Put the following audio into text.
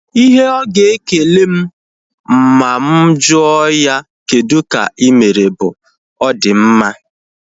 Ihe ọ ga ekele m ma mụ jụọ ya kedụ ka ịmere bụ; ọ di mma